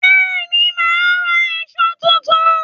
Bẹ́ẹ̀ni, màá ra èṣó tuntun.